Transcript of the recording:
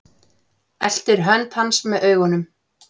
Eltir hönd hans með augunum.